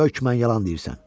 Hökmən yalan deyirsən.